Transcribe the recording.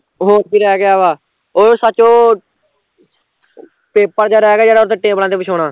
ਹੋਰ ਕੀ ਰਹਿ ਗਿਆ ਵਾਂ ਉਹ ਸੱਚ ਉਹ paper ਜਿਹਾ ਰਹਿ ਗਿਆ ਜਿਹੜਾ ਉਹਤੇ ਟੇਬਲਾ ਤੇ ਵਿਛਾਉਣਾ